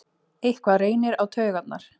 Eitthvað reynir á taugarnar